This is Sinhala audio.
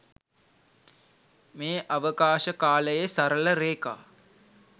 මේ අවකාශකාලයේ සරල රේඛා